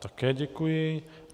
Také děkuji.